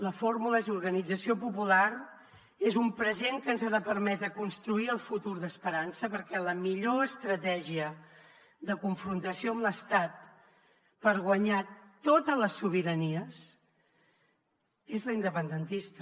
la fórmula és organització popular és un present que ens ha de permetre construir el futur d’esperança perquè la millor estratègia de confrontació amb l’estat per guanyar totes les sobiranies és la independentista